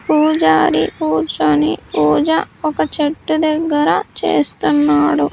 పూజారి కూర్చొని పూజ ఒక చెట్టు దగ్గర చేస్తున్నాడు.